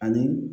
Ani